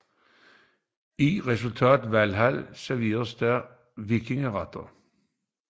I Restaurant Valhall serveres der vikingeretter